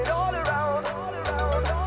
af